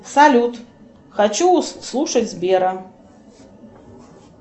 салют хочу слушать сбера